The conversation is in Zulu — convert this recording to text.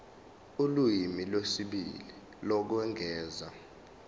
ulimi lwesibili lokwengeza